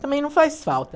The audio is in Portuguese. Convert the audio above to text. Também não faz falta.